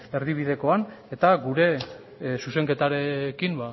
erdibidekoan eta gure zuzenketarekin